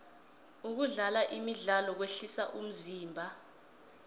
kudlala imidlalo kwehlisa umzimba